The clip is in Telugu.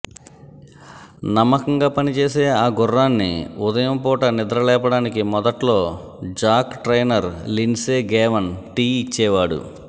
నమ్మకంగా పనిచేసే ఆ గుర్రాన్ని ఉదయం పూట నిద్రలేపడానికి మొదట్లో Jack trainer Lindsay Gavin tea ఇచ్చేవాడు